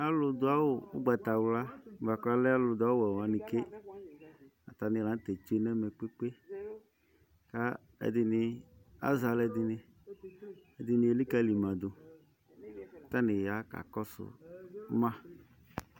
Alu du awu ugbatawla la kalɛ alu du ɔwɛ wani ke atani la tsue nɛmɛ kpekpe kpekpe ɛdini azɛ alɛdini ɛdini elikali ma du katani ya kakɔsu ma